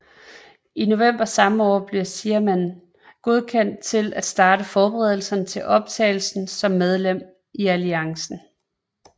I november samme år blev Xiamen godkendt til at starte forberedelserne til optagelse som medlem i alliancen